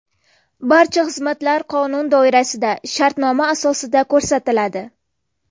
Barcha xizmatlar qonun doirasida shartnoma asosida ko‘rsatiladi.